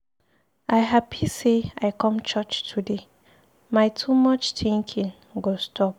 I happy say I come church today, my too much thinking go stop